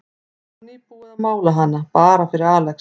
Það var nýbúið að mála hana, bara fyrir Alex.